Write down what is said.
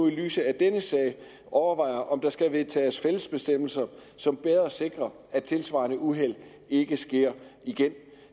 i lyset af denne sag overvejer om der skal vedtages fælles bestemmelser som bedre sikrer at tilsvarende uheld ikke sker igen